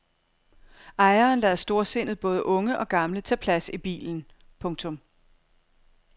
Ejeren lader storsindet både unge og gamle tage plads i bilen. punktum